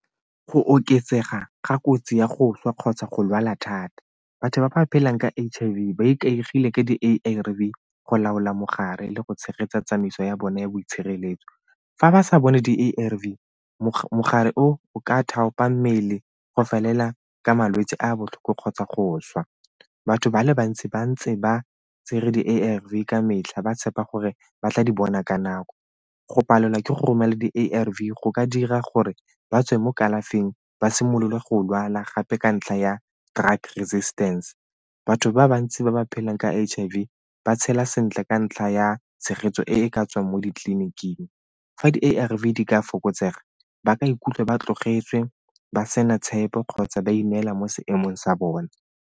Go oketsega ga kotsi ya go swa kgotsa go lwala thata. Batho ba ba phelang ka H_I_V ba ikaegile ka di-A_R_V go laola mogare le go tshegetsa tsamaiso ya bone ya boitshireletso. Fa ba sa bone di-A_R_V mogare o, o ka thapa mmele go felela ka malwetse a botlhoko kgotsa go swa. Batho ba le bantsi ba ntse ba tsere di-A_R_V ka metlha ba tshepa gore ba tla di bona ka nako. Go palelwa ke go romela di-A_R_V go ka dira gore ba tswe mo kalafing, ba simolola go lwala gape ka ntlha ya drug resistance. Batho ba bantsi ba ba phelang ka H_I_V ba tshela sentle ka ntlha ya tshegetso e ka tswang mo ditliliniking. Fa di-A_R_V di ka fokotsega ba ka ikutlwa ba tlogetswe, ba sena tshepo kgotsa ba ineela mo seemong sa bone.